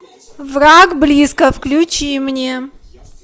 враг близко включи мне